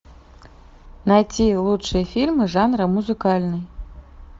найти лучшие фильмы жанра музыкальный